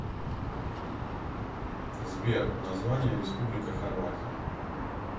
сбер название республика хорватия